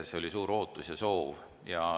See oli suur ootus ja soov.